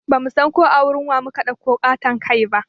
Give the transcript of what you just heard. Bamu san ko a wurin wa mu ka ɗauko ƙaton kai ba